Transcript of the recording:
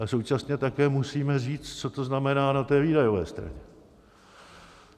A současně také musíme říct, co to znamená na té výdajové straně.